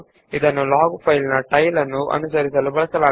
ಇದನ್ನು log file ನ ಕೊನೆಯನ್ನು ಅನುಸರಿಸಲು ಬಳಸಲಾಗುತ್ತದೆ